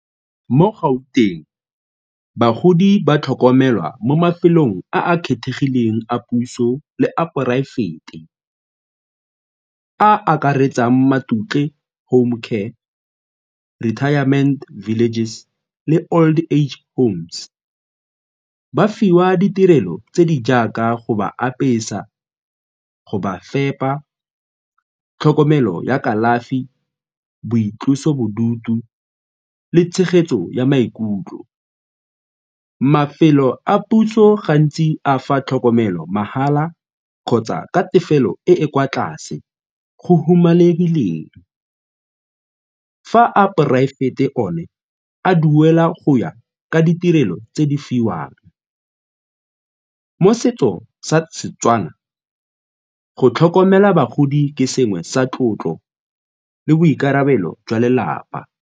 Mo Gauteng, bagodi ba tlhokomelwa mo mafelong a a kgethegileng a puso le a poraefete a akaretsang Matutle Home Care, Retirement Villages le old age home. Ba fiwa ditirelo tse di jaaka go ba apesa, go ba fepa, tlhokomelo ya kalafi, boitlosobodutu le tshegetso ya maikutlo. Mafelo a puso gantsi a fa tlhokomelo mahala kgotsa ka tefelo e e kwa tlase go humanegileng fa a poraefete o ne a duela go ya ka ditirelo tse di fiwang. Mo setso sa Setswana, go tlhokomela bagodi ke sengwe sa tlotlo le boikarabelo jwa lelapa.